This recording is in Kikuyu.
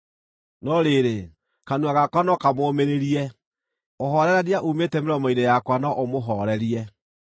No rĩrĩ, kanua gakwa no kamũũmĩrĩrie; ũhoorerania uumĩte mĩromo-inĩ yakwa no ũmũhoorerie.